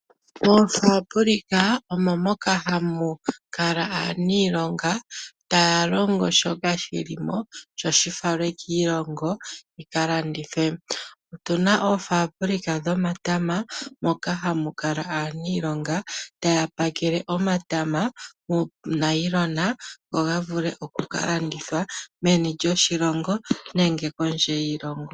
Moofabulika omo moka hamu kala aaniilonga taya longo shoka shi limo sho shifalwe kiilongo yi kalandithwe. Otuna oofabulika dhomatama moka hamu kala aaniilonga taya pakele omatama moonayilona go gavule oku kalandithwa meni lyoshilongo nenge kondje yiilongo.